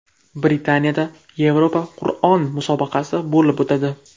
Britaniyada Yevropa Qur’on musobaqasi bo‘lib o‘tadi.